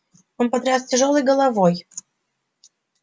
он потряс тяжёлой головой